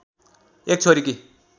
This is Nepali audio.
एक छोरीकी